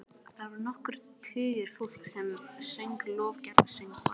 Þar voru nokkrir tugir fólks sem söng lofgjörðarsöngva.